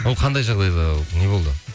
ол қандай жағдайда не болды